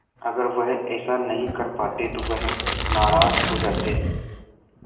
अगर वह ऐसा नहीं कर पाते तो वह नाराज़ हो जाते